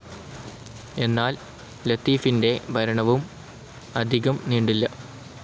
എന്നാൽ ലത്തീഫിൻ്റെ ഭരണവും അധികം നീണ്ടില്ല.